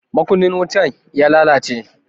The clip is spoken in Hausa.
Makunnin wutan ya lalace.